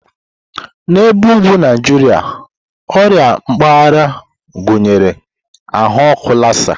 N'ebe ugwu Naijiria, ọrịa mpaghara gụnyere ahụ ọkụ Lassa.